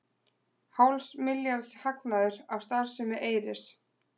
Hálfs milljarðs hagnaður af starfsemi Eyris